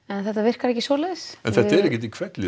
en þetta virkar ekki svoleiðis en þetta er ekki í hvelli